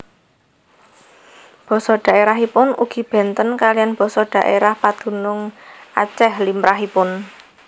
Basa dhaèrahipun ugi bénten kaliyan basa dhaèrah padunung Acèh limrahipun